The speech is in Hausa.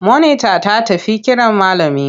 Monita ta tafi kiran malami.